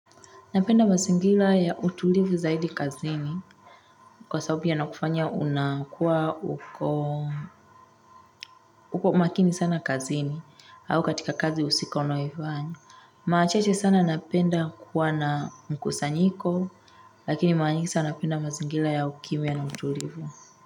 Napenda mazingira ya utulivu zaidi kazini kwa sababu yanakufanya unakuwa uko uko makini sana kazini au katika kazi husika unayoifanya. Machache sana napenda kuwa na mkusanyiko lakini mara nyingi sana napenda mazingira ya ukimya na utulivu.